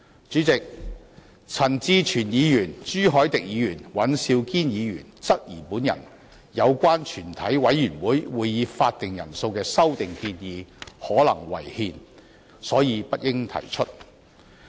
主席，陳志全議員、朱凱廸議員及尹兆堅議員質疑有關降低全體委員會會議法定人數的修訂建議可能違憲，所以不應提出。